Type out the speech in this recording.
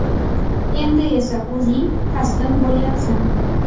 Endi esa o‘zing taslim bo‘lyapsan.